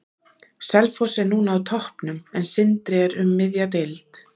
Selfoss er núna á toppnum, en Sindri er um miðja deild.